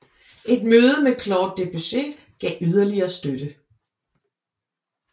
Et møde med Claude Debussy gav yderligere støtte